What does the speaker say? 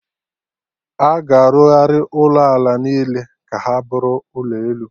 Aga arụgharị ụlọ ala niile ka ha bụrụ ụlọ elu